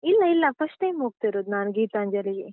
ಇಲ್ಲ ಇಲ್ಲ first time ಹೋಗ್ತಿರೋದು ನಾನ್ ಗೀತಾಂಜಲಿಗೆ.